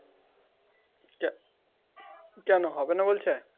কেন হবে না বলছে?